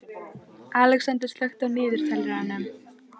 Alexander, slökktu á niðurteljaranum.